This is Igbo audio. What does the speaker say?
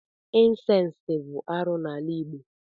incesti bụ arụ n'ala igbo.